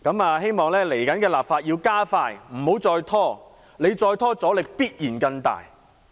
我希望未來要加快立法，不要再拖，再拖的話，阻力必然更大。